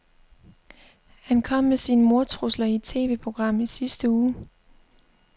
Han kom med sine mordtrusler i et TVprogram i sidste uge.